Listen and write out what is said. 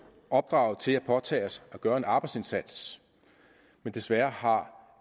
opdraget til at påtage os at gøre en arbejdsindsats men desværre har